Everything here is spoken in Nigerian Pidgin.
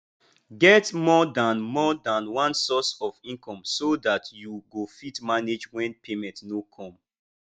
get more than more than one source of income so dat you go fit manage when payment no come